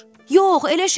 Yox, elə şey olmaz.